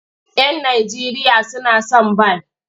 Yan Najeriya suna son bal.